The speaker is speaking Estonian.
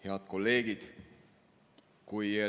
Head kolleegid!